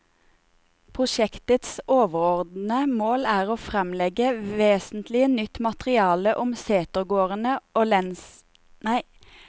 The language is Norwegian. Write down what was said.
Prosjektets overordede mål er å fremlegge vesentlig nytt materiale om setegårdene og lensresidensenes bebyggelse.